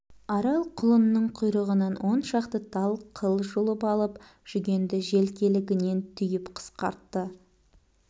арал құлынның құйрығынан он шақты тал қыл жұлып алып жүгенді желкелігінен түйіп қысқартты